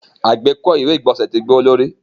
Agbeko iwe igbọnsẹ ti gbọwọlorí.